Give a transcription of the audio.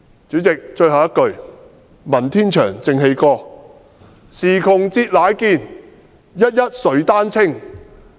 主席，我最後一句話，引述文天祥的《正氣歌》："時窮節乃見，一一垂丹青"。